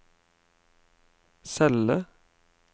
celle